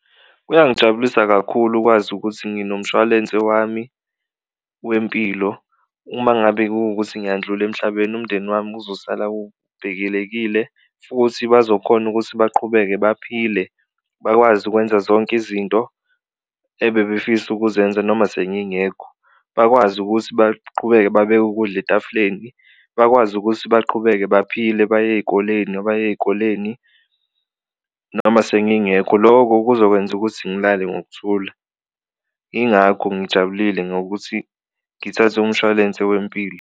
Kuyangijabulisa kakhulu ukwazi ukuthi nginomshwalense wami wempilo uma ngabe kuwukuthi ngiyandlula emhlabeni umndeni wami uzosala ubhekelekile futhi bazokhona ukuthi baqhubeke baphile, bakwazi ukwenza zonke izinto ebebefisa ukuzenza noma sengingekho. Bakwazi ukuthi baqhubeke babeke ukudla etafuleni, bakwazi ukuthi baqhubeke baphile baye ey'koleni abaya ey'koleni noma sengingekho, loko kuzokwenza ukuthi ngilale ngokuthula ingakho ngijabulile ngokuthi ngithathe umshwalense wempilo.